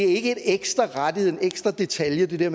ikke er en ekstra rettighed en ekstra detalje